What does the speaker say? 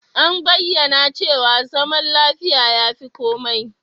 An bayyana cewa zaman lafiya ya fi komai.